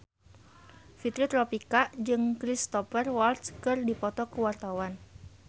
Fitri Tropika jeung Cristhoper Waltz keur dipoto ku wartawan